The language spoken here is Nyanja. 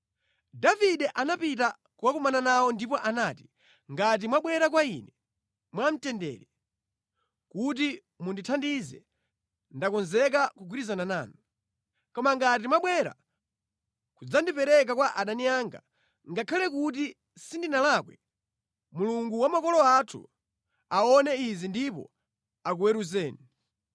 Davide anapita kukakumana nawo ndipo anati, “Ngati mwabwera kwa ine mwamtendere, kuti mundithandize, ndakonzeka kugwirizana nanu. Koma ngati mwabwera kudzandipereka kwa adani anga, ngakhale kuti sindinalakwe, Mulungu wa makolo anthu aone izi ndipo akuweruzeni.”